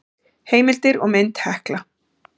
Heimildir og mynd Hekla.